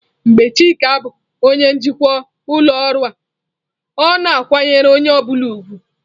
Mgbe Chika bụ onye njikwa ụlọ ọrụ a, ọ na-akwanyere onye ọ bụla ùgwù.